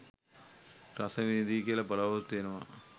රසවිඳී කියල බලාපොරොත්තු වෙනවා